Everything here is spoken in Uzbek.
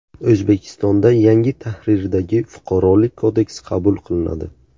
O‘zbekistonda yangi tahrirdagi Fuqarolik kodeksi qabul qilinadi.